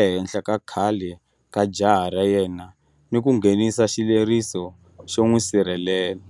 ehenhla ka khale ka jaha ra yena ni ku nghenisa xileriso xo n'wi sirhelela.